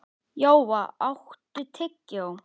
Jóa, áttu tyggjó?